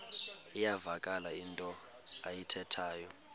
iyavakala into ayithethayo